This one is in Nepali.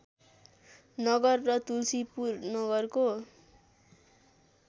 नगर र तुल्सीपुर नगरको